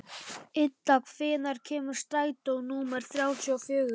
Idda, hvenær kemur strætó númer þrjátíu og fjögur?